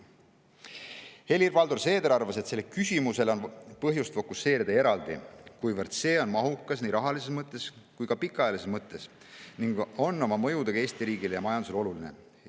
Helir-Valdor Seeder arvas, et sellele küsimusele on põhjust fokuseerida eraldi, kuivõrd see on mahukas nii rahalises mõttes kui ka pikaajalises mõttes ning see on oma mõjudega Eesti riigile ja majandusele oluline.